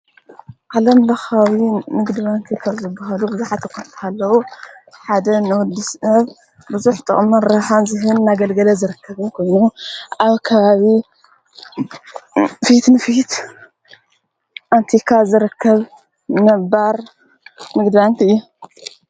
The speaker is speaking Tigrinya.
ዓለም ብኻዊ ንግድባንቲ ይፈር ዘብሃሉ ብዘኃተኳ ንተሓለዉ ሓደ ንወዲስነብ ብዙኅ ጥቕመን ራሓን ዙህን ናገልገለ ዝረከብን ጐኑ ኣብካዊ ንፊት ንፊት ኣንቲካ ዘረከብ ነባር ንግድባንክ እዩ።